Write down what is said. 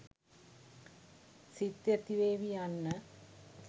සිත් ඇතිවේවි යන්න